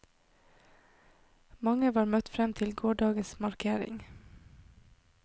Mange var møtt frem til gårsdagens markering.